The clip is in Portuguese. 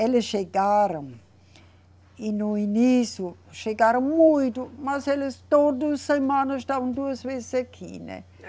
Eles chegaram e no início chegaram muito, mas eles todo semana estavam duas vezes aqui, né?